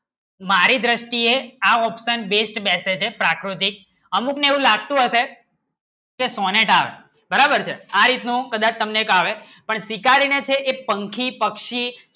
મારી દ્રષ્ટિએ આ option વેસ્ટ બેસે છે પ્રાકૃતિક અમુકને એવું લાગતું હશે બરાબર છે એ પંખી પક્ષી